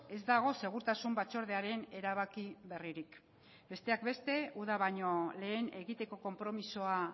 ez dago segurtasun batzordearen erabaki berririk besteak beste uda baino lehen egiteko konpromisoa